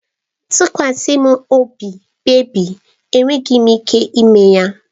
Tụkwasa m obi bebị, enwere m ike ime ya.